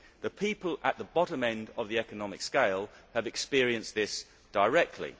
The people at the bottom end of the economic scale have experienced this directly.